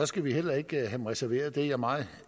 skal vi heller ikke have reserveret det er jeg meget